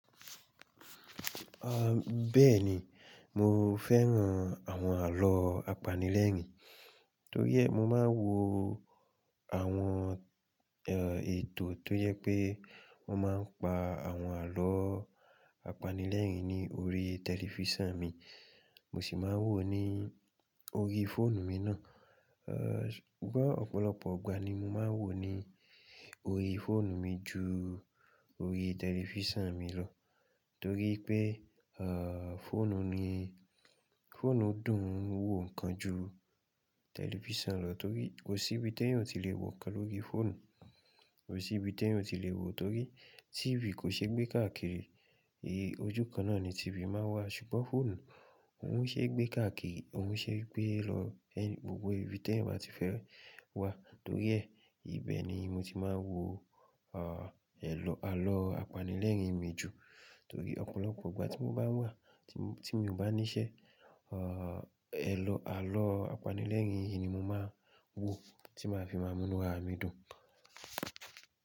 Ah, bẹ́ẹ̀ni, mo fẹ́ràn àwọn àlọ́ apanilẹ́rìn-ín, torí ẹ, mo máa ń wo àwọn, eh, ètò tó yẹ pé wọ́n máa ń pa àwọn àlọ́ apanilẹ́rìn-ín ní orí tẹlifísàn mi, mo sì máa ń wò ó ní orí fóònù mi náà. Eh, ṣùgbọ́n ọ̀pọ̀lọpọ̀ igbà ni mo máa ń wò ó ní orí fóònù mi ju orí tẹlifísàn mi lọ, torí pé, eh, fóònù mi, fóònù dùn wò ǹkan ju tẹlifísàn lọ torí kò sí ibi tí ẹ̀yin ò tí lè wò ǹkan lórí fóònù, kò sí ibi tí ẹ̀yin ò tí lè wò o torí TV kò ṣe gbé káàkiri, èyí ojú kan náà ni TV máa ń wá, ṣùgbọ́n fóònù, òun ṣe é gbé káàkiri, òun ṣe é gbé e lọ ẹ-- gbogbo ibi tí ẹ̀yin bá ti fẹ́ wá, torí ẹ, ìbẹ ni mo ti máa ń wò, ah, àlọ́ apanilẹ́rìn-ín mi jù torí ọ̀pọ̀lọpọ̀ igbà tí mo bá wà, tí mo, tí mo bá níṣẹ́, ah, àlọ́ apanilẹ́rìn-ín yìí ni mo máa ń wò tí màá fi máa múnúra mi dùn.